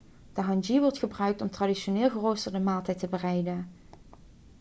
de hangi wordt gebruikt om een traditioneel geroosterde maaltijd te bereiden